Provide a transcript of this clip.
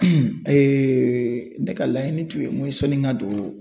ne ka laɲini tun ye mun ye sɔnni ka don